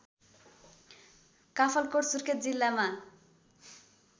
काफलकोट सुर्खेत जिल्लामा